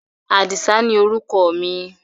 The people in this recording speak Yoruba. Àdìsá ni orúkọ mi.